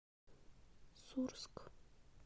сурск